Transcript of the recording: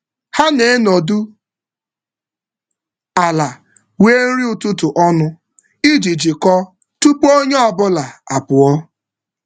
Ha na-enọdụ ala rie nri ụtụtụ ọnụ iji jikọọ tupu onye ọ bụla onye ọ bụla apụọ.